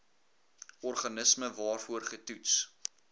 organisme waarvoor getoets